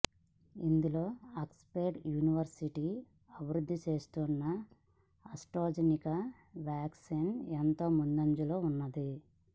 ఇందులో Oxford University అభివృద్ధి చేస్తున్న ఆస్ట్రాజెనికా వ్యాక్సిన్ ఎంతో ముందంజలో ఉన్నది